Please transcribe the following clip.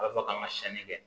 A bɛ fɔ k'an ka siyɛnni kɛ